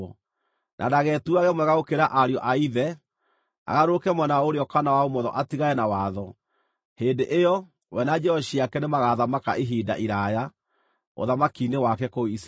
na ndagetuage mwega gũkĩra ariũ a ithe agarũrũke mwena wa ũrĩo kana wa ũmotho atigane na watho. Hĩndĩ ĩyo, we na njiaro ciake nĩmagathamaka ihinda iraaya ũthamaki-inĩ wake kũu Isiraeli.